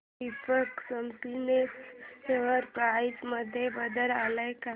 Deepak spinners share price मध्ये बदल आलाय का